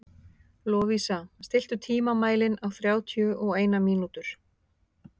Lovísa, stilltu tímamælinn á þrjátíu og eina mínútur.